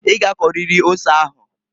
I g'akọrịrị ose ahuǃ